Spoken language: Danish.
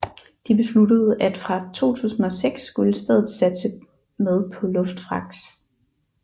De besluttede at fra 2006 skulle stedet satse med på luftfragt